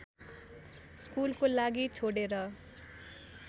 स्कुलको लागि छोडेर